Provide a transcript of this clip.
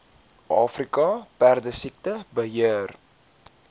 afrika perdesiekte beheer